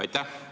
Aitäh!